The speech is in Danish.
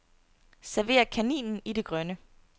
Server kaninen i det grønne.